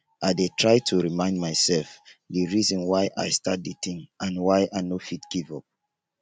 i dey try to remind myself di reason why i start di thing and why i no fit give up.